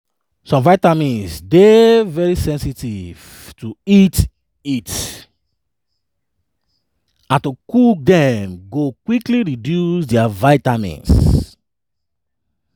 some vitamins dey very sensitive to heat heat and to cook dem go quickly reduce dia vitamins.